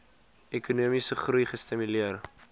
ekonomiese groei gestimuleer